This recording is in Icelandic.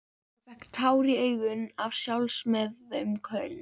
Hún fékk tár í augun af sjálfsmeðaumkun.